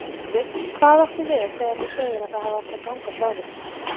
Sölvi: Hvað áttu við þegar þú segir að það hafi átt að ganga frá þér?